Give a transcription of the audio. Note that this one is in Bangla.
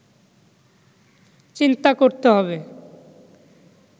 চিন্তা করতে হবে